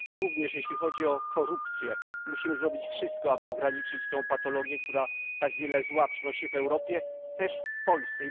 Również jeśli chodzi o korupcję, musimy zrobić wszystko, aby ograniczyć tę patologię, która tak wiele zła przynosi w Europie, też w Polsce.